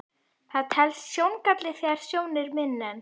Það telst sjóngalli þegar sjón er minni en